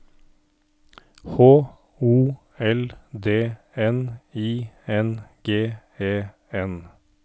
H O L D N I N G E N